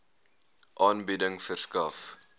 aanbieding verskaf